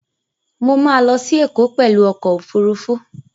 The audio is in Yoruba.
Mo ma lọ sí Ẹ̀kọ́ pẹ̀lú ọkọ̀ Òfurufú